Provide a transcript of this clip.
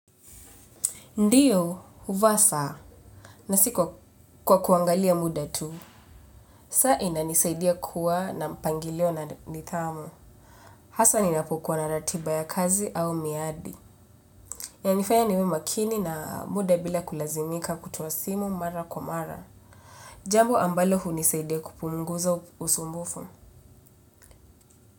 Ndiyo, huvaa saa. Na siko kwa kuangalia muda tu. Saa inanisaidia kuwa na mpangilio na nidhamu. Hasa ninapokuwa na ratiba ya kazi au miadi. Yanifanya niwe makini na muda bila kulazimika kutoa simu mara kwa mara. Jambo ambalo hunisaidia kupunguza usumbufu.